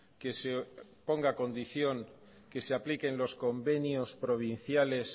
que se ponga condición que se apliquen los convenios provinciales